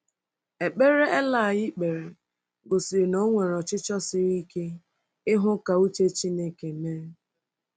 Ekpere eli kpere gosiri na o nwere ọchịchọ siri ike ịhụ ka uche Chineke mee